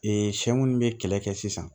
sɛ minnu bɛ kɛlɛ kɛ sisan